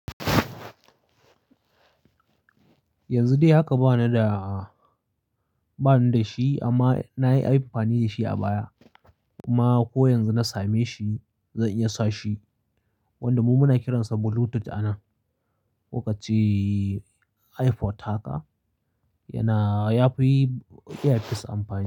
Yanzu dai haka bana da, bana da shi amma na yi amfani da shi a baya. Kuma ko yanzu na same shi, zan iya sa shi. Wanda mu muna kiransa Bluetooth a nan. Ko kace iphod haka yana, yafi iya yin sa amfani.